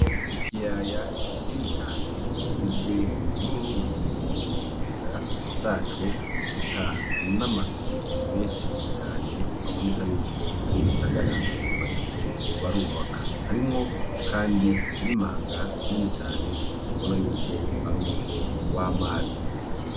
ikiyaya kinini cane kigizwe n'uruzi kunkengera zaco, eka n'amazu menshi cane aboneka yuko ari igisagara bariko barubaka, harimwo kandi n'imanga Nini cane ubona yuko ari umuvo w'amazi.